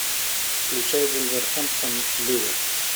включай вулверхэмптон ливер